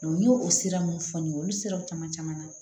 n y'o sira mun fɔ n ye olu siraw caman caman na